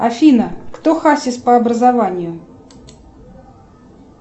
афина кто хасис по образованию